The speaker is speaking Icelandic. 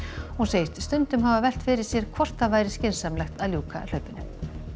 hún segist stundum hafa velt fyrir sér hvort það væri skynsamlegt að ljúka hlaupinu